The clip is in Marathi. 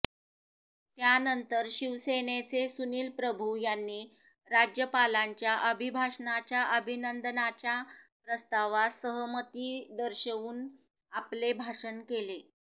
त्यानंतर शिवसेनेचे सुनील प्रभू यांनी राज्यपालांच्या अभिभाषणाच्या अभिनंदनाच्या प्रस्तावास सहमती दर्शवून आपले भाषण केले